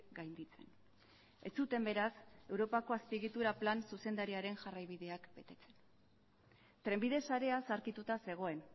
gainditzen ez zuten beraz europako azpiegitura plan zuzendariaren jarraibideak betetzen trenbide sarea zaharkituta zegoen